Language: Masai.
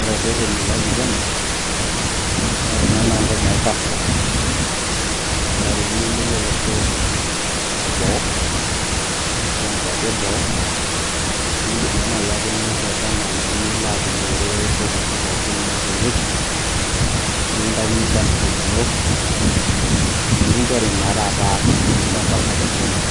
Ore ireteni loopiki ena, naa ore ena naa entoki naji passport ore ake piiyieu nilo olosho leboo ashua inkuapi e boo naa indim naa naajiake nilo atumore inkopisi pookin naipang'ieki nikintaikini passport ino nikinchori naa taata orusa impang'a tekenya